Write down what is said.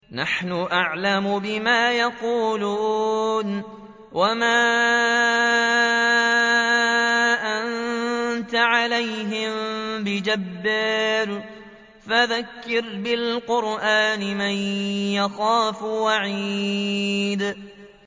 نَّحْنُ أَعْلَمُ بِمَا يَقُولُونَ ۖ وَمَا أَنتَ عَلَيْهِم بِجَبَّارٍ ۖ فَذَكِّرْ بِالْقُرْآنِ مَن يَخَافُ وَعِيدِ